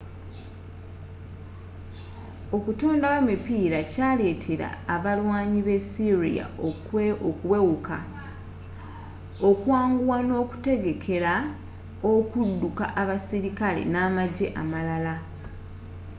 okutondawo emipiira kyaleetera abalwaanyi b'essyria okuwewuka okwanguwa n'okwetegekera okuduka abasirikale namajje amalala